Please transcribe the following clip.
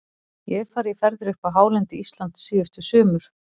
Ég hef farið í ferðir upp á hálendi Íslands síðustu sumur.